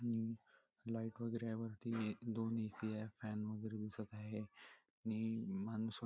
आणि लाइट वगेरे आहे वरती दोन ए.सी. फॅन वगेरे दिसत आहे नी माणस--